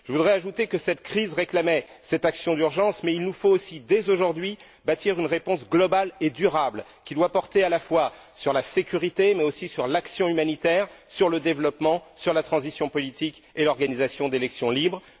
Je voudrais ajouter que cette crise réclamait cette action d'urgence, mais il nous faut aussi, dès aujourd'hui, bâtir une réponse globale et durable, qui doit porter à la fois sur la sécurité, mais aussi sur l'action humanitaire, sur le développement, sur la transition politique et l'organisation d'élections libres.